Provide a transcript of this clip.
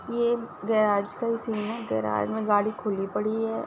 ये गैराज का ही सीन है। गैराज में गाड़ी खुली पड़ी है।